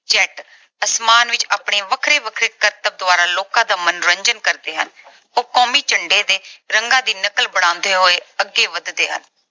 Jet ਅਸਮਾਨ ਵਿੱਚ ਆਪਣੇ ਵੱਖਰੇ-ਵੱਖਰੇ ਕਰਤਬਾਂ ਦੁਆਰਾ ਲੋਕਾਂ ਦਾ ਮਨੋਰੰਜਨ ਕਰਦੇ ਹਨ। ਉਹ ਕੌਮੀ ਝੰਡੇ ਦੇ ਰੰਗਾਂ ਦੀ ਨਕਲ ਬਣਾਉਂਦੇ ਹੋਏ ਅੱਗੇ ਵਧਦੇ ਹਨ।